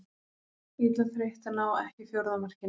Illa þreytt að ná ekki fjórða markinu.